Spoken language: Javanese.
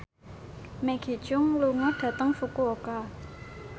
Maggie Cheung lunga dhateng Fukuoka